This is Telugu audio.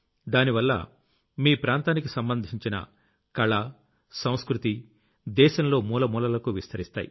దానివల్ల మీ ప్రాంతానికి సంబంధించిన కళ సంస్కృతి దేశంలో మూల మూలలకూ విస్తరిస్తాయి